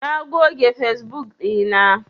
Na goge fesbuk ɗina.